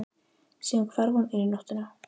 Síðan hvarf hún inn í nóttina.